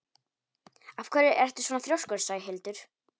Af hverju ertu svona þrjóskur, Sæhildur?